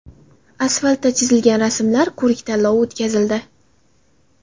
Asfaltda chizilgan rasmlar ko‘rik-tanlovi o‘tkazildi.